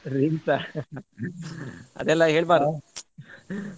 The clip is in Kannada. Drinks ಆ ಅದೆಲ್ಲ ಹೇಳ್ಬಾರ್ದು